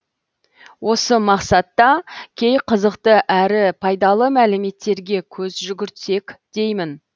осы мақсатта кей қызықты әрі пайдалы мәліметтерге көз жүгіртсек деймін